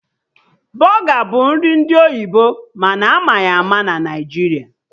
Bọga bụ nri ndị oyibo mana ama ya ama na Naijiria